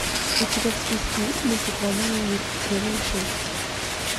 у тебя в списке есть мультик война и мир серия шесть